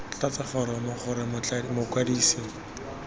tlatsa foromo c gore mokwadise